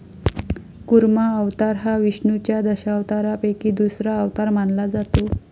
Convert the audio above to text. कुर्मा अवतार हा विष्णुच्या दशावतारापैकी दुसरा अवतार मानला जातो.